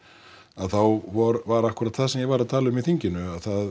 að þá var var akkúrat það sem ég var að tala um í þinginu að það